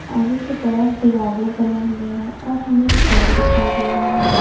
आगे की तरफ दिवाले बनी हुई है और हमे एक पेड़ दिखाई दे रहा है।